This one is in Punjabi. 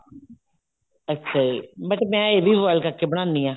ਅੱਛਾ ਜੀ ਮੈਂ ਇਹ boil ਕਰਕੇ ਬਣਾਉਂਦੀ ਹਾਂ